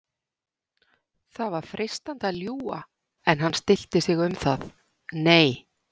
Það var freistandi að ljúga en hann stillti sig um það: Nei